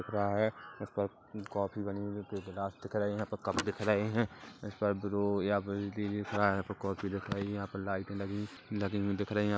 गायक प्रकाश कॉपी बनी हुई जो प्राप्त करेगा तो कब दिख रहै हैंक्राफ्ट दिखाएं यहां पर कॉफी लाइट लगी हुई दिख रही है।